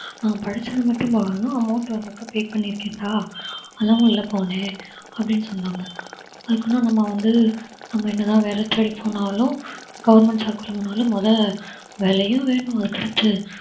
நான் படிச்சதை மட்டும் பார்க்கணும் amount pay பண்ணிருக்கேன்டா அதான் உள்ள போனேன் அப்படின்னு சொன்னாங்க அதுக்குன்னு நம்ம வந்து நம்ம என்னதான் வேலை தேடி போனாலும் government job குள்ள போனாலும் முத வேலையும் வேணும் அதுக்கடுத்து